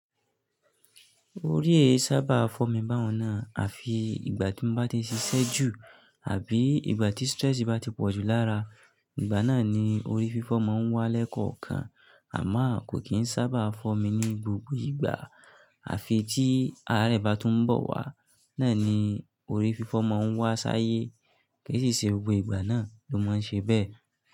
Orí èé sábà fọ́ mi báwọ̀nà àfi ìgbà tí mo bá ti ń ṣiṣẹ́ jù àbí ìgbà tí stress bá ti pọ̀ jù lára. Ìgbà náà ni orí fífọ́ máa ń wá lẹ́kọ̀ọ̀kan àmọ́ kò kì í sábà fọ́ mi ní gbogbo ìgbà àfi tí àárẹ̀ bá tún ń bọ̀ wá. Náà ni orí fífọ́ máa ń wá sáyé. Kìí sì ṣe gbogbo ìgbà náà ló máa ń ṣe bẹ́ẹ̀